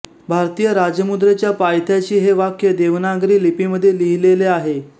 भारतीय राजमुद्रेच्या पायथ्याशी हे वाक्य देवनागरी लिपीमध्ये लिहिलेले आहे